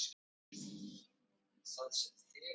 Mamma siglir inn með ísfjall.